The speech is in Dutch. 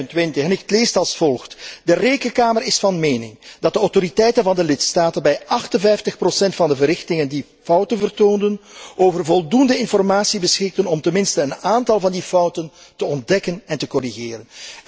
425. Die leest als volgt De Rekenkamer is van mening dat de autoriteiten van de lidstaten bij 58 van de verrichtingen die fouten vertoonden, over voldoende informatie beschikken om ten minste een aantal van die fouten te ontdekken en te corrigeren.